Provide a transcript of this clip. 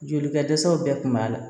Joli ka dɛsɛw bɛɛ kun b'a la